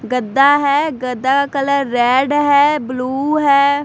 गद्दा है गद्दा का कलर रेड है ब्लू है।